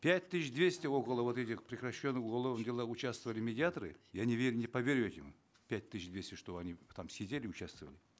пять тысяч двести около вот этих прекращенных уголовных делах участвовали медиаторы я не верю не поверю этому пять тысяч двести чтобы они там сидели участвовали